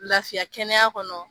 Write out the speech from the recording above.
Lafiya kɛnɛyaya kɔnɔ